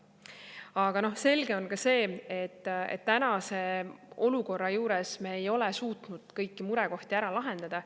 Aga selge on ka see, et tänase olukorra juures me ei ole suutnud kõiki murekohti ära lahendada.